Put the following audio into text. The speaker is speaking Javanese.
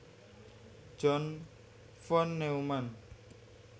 John von Neumann